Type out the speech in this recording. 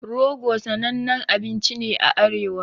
Rogo sanannen abinci ne a arewa